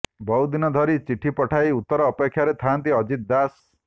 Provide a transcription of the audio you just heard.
ବହୁଦିନ ଧରି ଚିଠି ପଠାଇ ଉତ୍ତର ଅପେକ୍ଷାରେ ଥାଆନ୍ତି ଅଜିତ୍ ଦାସ